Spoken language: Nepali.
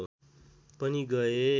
पनि गए